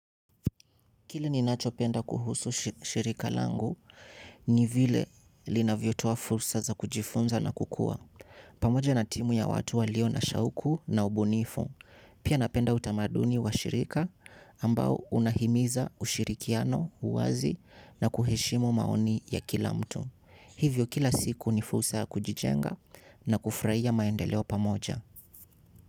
Kile ninachopenda kuhusu shirika langu ni vile linavyotua fursa za kujifunza na kukua. Pamoja na timu ya watu walio na shauku na ubunifu. Pia napenda utamaduni wa shirika ambao unahimiza ushirikiano, uwazi na kuheshimu maoni ya kila mtu. Hivyo kila siku ni fursa ya kujijenga na kufurahia maendeleo pamoja.